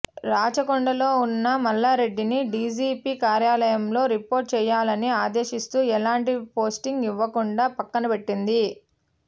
రాచకొం డలో ఉన్న మల్లారెడ్డిని డీజీపీ కార్యాలయంలో రిపోర్ట్ చేయాలని ఆదేశిస్తూ ఎలాంటి పోస్టింగ్ ఇవ్వకుండా పక్కనబెట్టింది